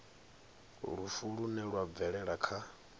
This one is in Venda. lufu lune lwa bvelela kha